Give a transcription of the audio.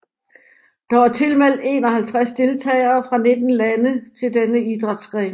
Der var tilmeldt 51 deltagere fra 19 lande til denne idrætsgren